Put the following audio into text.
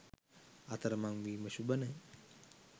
අතරමං වීම ශුභ නෑ.